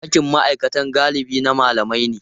Ɗakin ma'aikata galibi na malamai ne.